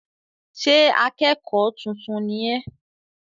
Ṣé akẹ́kọ̀ọ́ tuntun ni ẹ́?